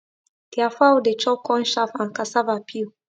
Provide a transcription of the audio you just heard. their fowl dey chop corn chaff and cassava peel